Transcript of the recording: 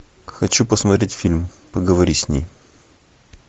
хочу посмотреть фильм поговори с ней